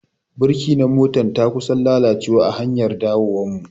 Birki na motar ta kusan lalacewa a hanyar dawowar mu.